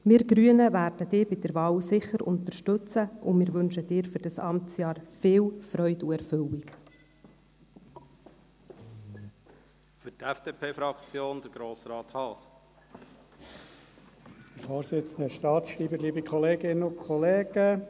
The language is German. Wir Grünen werden Sie sicher bei der Wahl unterstützen und wünschen Ihnen für dieses Amtsjahr viel Freude und Erfüllung.